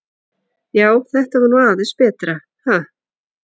Já, þetta var nú aðeins betra, ha!